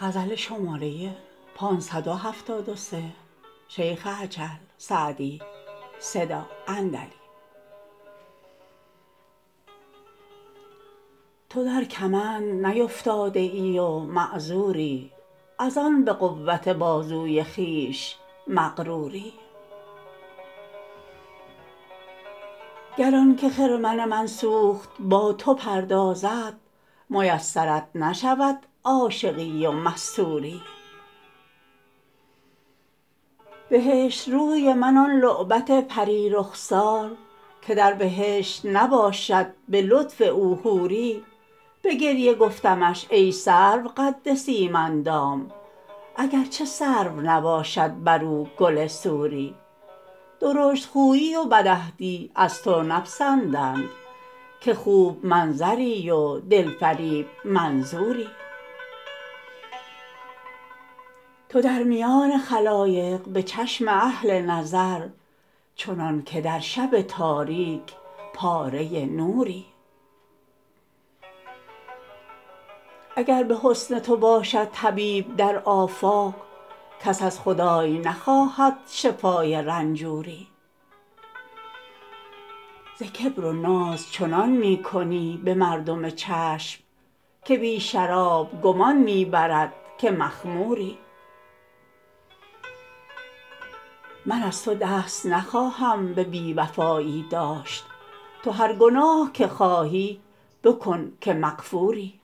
تو در کمند نیفتاده ای و معذوری از آن به قوت بازوی خویش مغروری گر آن که خرمن من سوخت با تو پردازد میسرت نشود عاشقی و مستوری بهشت روی من آن لعبت پری رخسار که در بهشت نباشد به لطف او حوری به گریه گفتمش ای سرو قد سیم اندام اگر چه سرو نباشد بر او گل سوری درشت خویی و بدعهدی از تو نپسندند که خوب منظری و دل فریب منظوری تو در میان خلایق به چشم اهل نظر چنان که در شب تاریک پاره نوری اگر به حسن تو باشد طبیب در آفاق کس از خدای نخواهد شفای رنجوری ز کبر و ناز چنان می کنی به مردم چشم که بی شراب گمان می برد که مخموری من از تو دست نخواهم به بی وفایی داشت تو هر گناه که خواهی بکن که مغفوری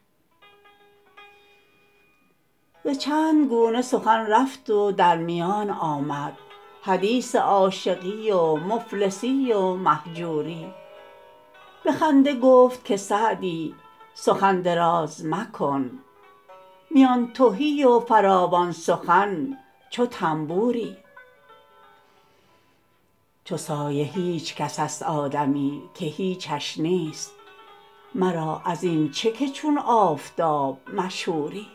ز چند گونه سخن رفت و در میان آمد حدیث عاشقی و مفلسی و مهجوری به خنده گفت که سعدی سخن دراز مکن میان تهی و فراوان سخن چو طنبوری چو سایه هیچ کس است آدمی که هیچش نیست مرا از این چه که چون آفتاب مشهوری